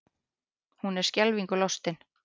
Hún er skelfingu lostin.